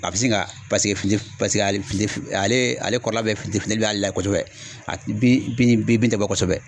A bɛ sin ka paseke fini f paseke ale fini f alee ale kɔrɔla bɛɛ fiti finin b'ale la kosɛbɛ a bi bin bin bin tɛ bɔ kɔsɛbɛ.